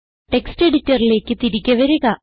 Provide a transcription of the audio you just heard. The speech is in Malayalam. ടെക്സ്റ്റ് എഡിറ്ററിലേക്ക് തിരികെ വരിക